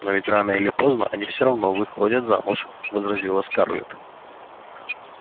но ведь рано или поздно они всё равно выходят замуж возразила скарлетт